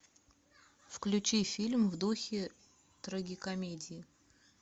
включи фильм в духе трагикомедии